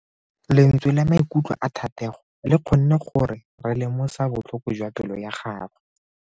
Lentswe la maikutlo a Thatego le kgonne gore re lemosa botlhoko jwa pelo ya gagwe.